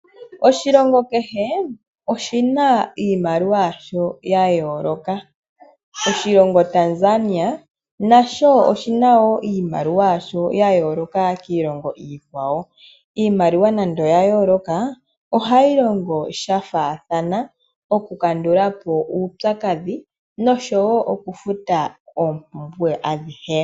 Oshilongo kehe oshina iimaliwa yasho yayooloka. Oshilongo Tanzania nasho oshina iimaliwa yayooloka kiilongo iikwawo. Iimaliwa nande yayooloka ohayi longithwa shafaathana oku futa noku landa oompumbwe adhihe